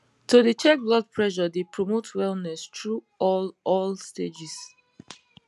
to dey check blood pressure dey promote wellness through all all stages